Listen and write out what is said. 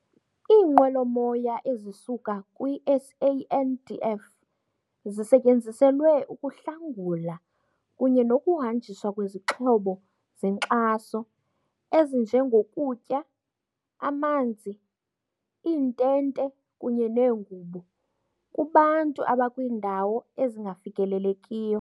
"Iinqwelo-moya ezisuka kwi-SANDF zisetyenziselwe ukuhlangula kunye nokuhanjiswa kwezixhobo zenkxaso - ezinjengokutya, amanzi, iintente kunye neengubo - kubantu abakwiindawo ezingafikelekiyo."